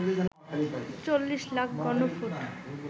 চল্লিশ লাখ ঘনফুট